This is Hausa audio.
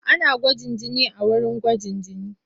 Ana gwaji jini a wurin gwajin jini.